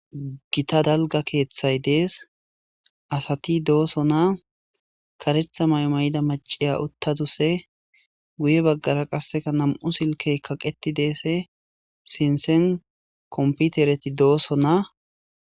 gita dalga keeththay dees asati dooso naa karetha maymay7ida maciya uttaduse guye baggara qasseka nam7u silkey kaqeti deese sinsen komputereti dooso naa